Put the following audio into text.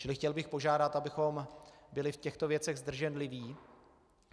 Čili chtěl bych požádat, abychom byli v těchto věcech zdrženliví.